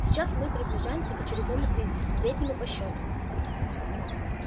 сейчас мы приближаемся к очередному кризису третьему по счёту